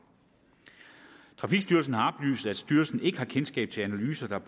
trafikstyrelsen har oplyst at styrelsen ikke har kendskab til analyser der